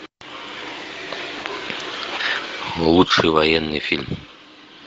лучший военный фильм